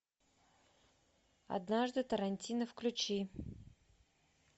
однажды тарантино включи